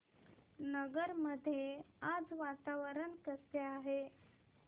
नगर मध्ये आज वातावरण कसे आहे